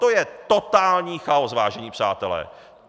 To je totální chaos, vážení přátelé!